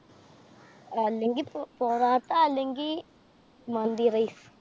അല്ലെങ്കി പൊറോട്ട, അല്ലെങ്കി മന്തി rice.